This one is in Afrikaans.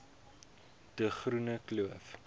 de groene kloof